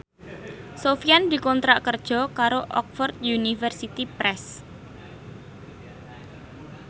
Sofyan dikontrak kerja karo Oxford University Press